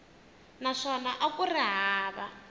naswona a ku ri hava